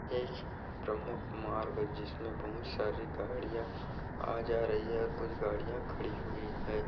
एक प्रमुख मार्ग जिसमे बहुत सारी गाड़िया आ-जा रही है और कुछ गाड़िया खड़ी हुई है।